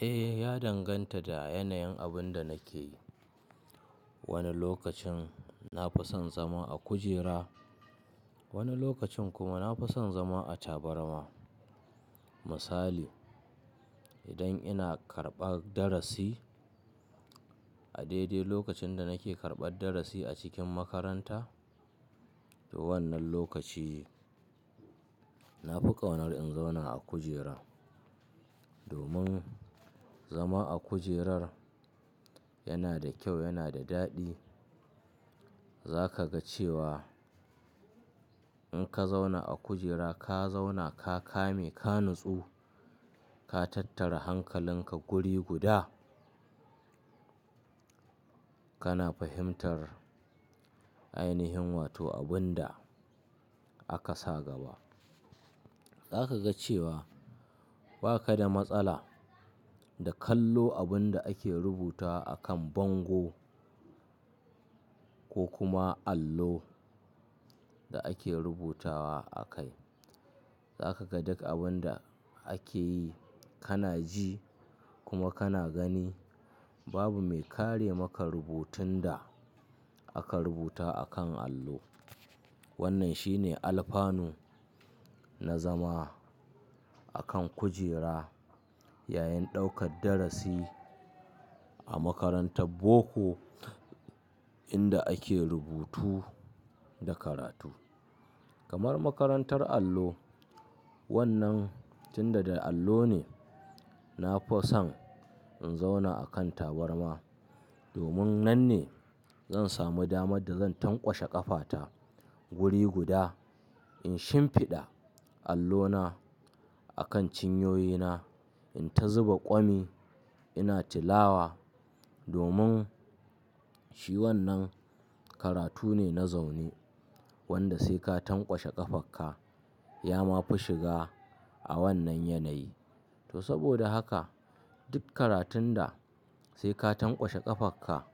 Eh, ya danganta da yanayin abin da nake yi. Wani lokacin na fi son zama a kujera, wani lokacin kuma na fi son zama a tabarma. Misali, idan ina karɓan darasi, a daidai lokacin da nake karɓan darasi a cikin makaranta, to wannan lokaci na fi ƙaunar in zauna a kujera. Domin zama a kujerar yana da kyau, yana da daɗi. Za ka ga cewa in ka zauna a kujera, ka zauna, ka kame, ka nutsu, ka tattara hankalinka guri guda, kana fahimtar ainihin wato abin da aka sa gaba. Za ka ga cewa ba ka da matsala da kallo abin da ake rubuta a kan bango ko kuma allo da ake rubutawa a kai. Za ka ga duk abin da ake yi, kana ji kuma kana gani. Babu mai kare maka rubutun da aka rubuta a kan allo. Wannan shine alfanu na zama a kan kujera yayin ɗaukar darasi a makarantar boko inda ake rubutu da karatu. Kamar makarantar allo, wannan tunda da allo ne, na fi son in zauna a kan tabarma domin nan ne zan sami damar da zan tanƙwashe ƙafata guri guda, in shimfiɗa allona a kan cinyoyina, in ta zuba ƙwami ina tilawa. Domin shi wannan karatu ne na zaune wanda sai ka tanƙwashe ƙafarka ya ma fi shiga a wannan yanayi. To saboda haka duk karatun da sai ka tanƙwashe ƙafarka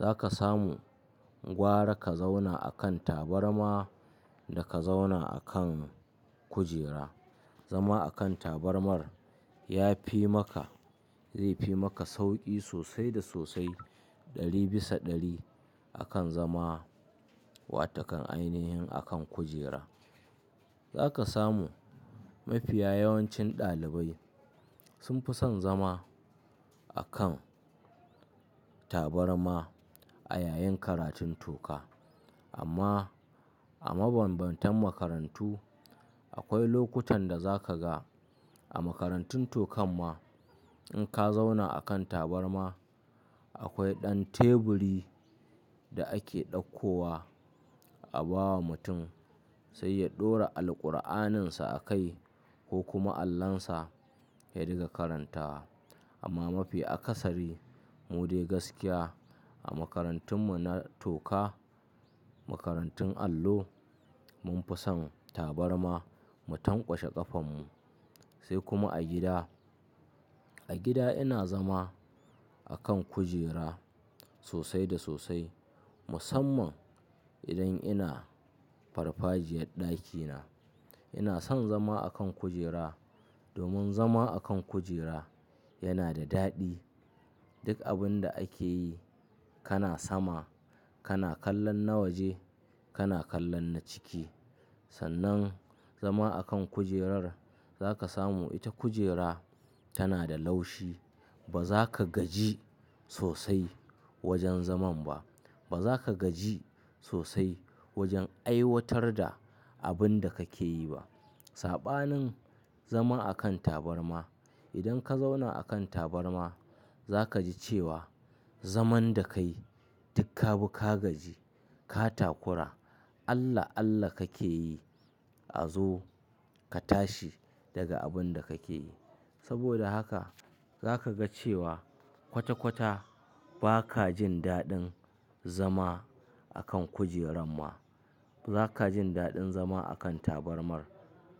za ka samu gwara ka zauna a kan tabarma da ka zauna a kan kujera. Zama a kan tabarmar ya fi maka, zai fi maka sauƙi sosai da sosai ɗari bisa ɗari akan zama wato kan ainihin a kan kujera. Za ka samu mafiya yawancin ɗalibai sun fi son zama a kan tabarma a yayin karatun toka. Amma a mabanbantan makarantu akwai lokutan da za ka ga a makarantun tokan ma in ka zauna a kan tabarma akwai ɗan teburi da ake ɗakkowa a ba wa mutum sai ya ɗora Alquraninsa a kai ko kuma allonsa ya riƙa karantawa. Amma mafi akasari mu dai gaskiya a makarantun mu na toka, makarantun allo mun fi son tabarma mu tanƙwashe ƙafan mu. Sai kuma a gida. A gida ina zama a kan kujera sosai da sosai musamman idan ina farfajiyar ɗakina. Ina son zama a kan kujera domin zama a kan kujera yana da daɗi. Duk abin da ake yi kana sama, kana kallon na waje, kana kallon na ciki. Sannan zama a kan kujerar za ka samu ita kujera tana da laushi. Ba za ka gaji sosai wajen zaman ba. Ba za ka gaji sosai wajen aiwatar da abin da kake yi ba. Saɓanin zama a kan tabarma idan ka zauna a kan tabarma za ka ji cewa zaman da ka yi duk ka bi ka gaji, ka takura. Allah Allah kake yi a zo ka tashi daga abin da kake yi. Saboda haka za ka ga cewa kwata kwata ba ka jin daɗin zama a kan kujerar ma. Ba ka jin daɗin zama a kan tabarmar.